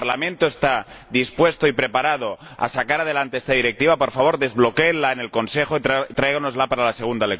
El Parlamento está dispuesto y preparado a sacar adelante esta Directiva por favor, desbloquéenla en el Consejo y tráigannosla para la segunda lectura.